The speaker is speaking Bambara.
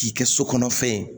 K'i kɛ so kɔnɔ fɛn ye